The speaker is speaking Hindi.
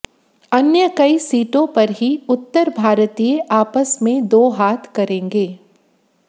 अन्य कई सीटों पर ही उत्तर भारतीय आपस में दो हाथ करेंगे